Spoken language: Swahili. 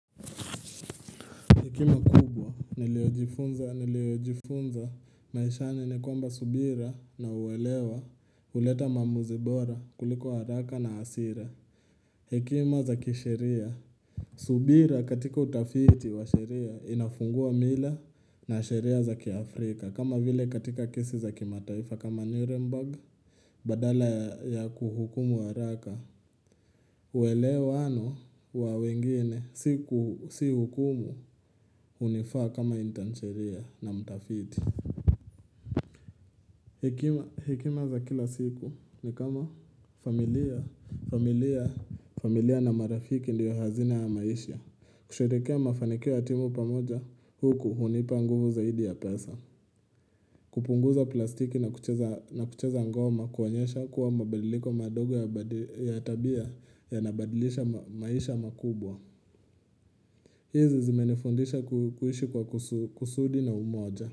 Hekima kubwa niliojifunza maishani ni kwamba subira na uwelewa huleta maamuzi bora kuliko haraka na hasira Hekima za kisheria subira katika utafiti wa sheria inafungua mila na sheria za kiafrika kama vile katika kesi za kimataifa kama Nuremberg badala ya kuhukumu haraka uelewano wa wengine si hukumu hunifaa kama intansheria na mtafiti Hekima za kila siku ni kama familia na marafiki ndiyo hazina ya maisha kusherehekea mafanikio ya timu pamoja huku hunipa nguvu zaidi ya pesa kupunguza plastiki na kucheza ngoma kuonyesha kuwa mabadiliko madogo ya tabia yanabadilisha maisha makubwa hizi zimenifundisha kuishi kwa kusudi na umoja.